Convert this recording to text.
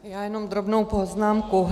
Já jenom drobnou poznámku.